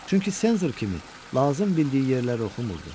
Çünki senzor kimi lazım bildiyi yerləri oxumurdu.